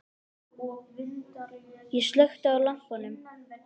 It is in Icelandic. Ég slökkti á lampanum.